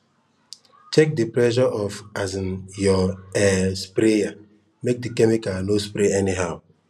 check the pressure of um your um sprayer make the chemical no spray anyhow